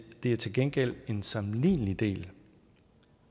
det er til gengæld en sammenlignelig del